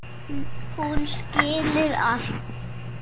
Hún skilur allt.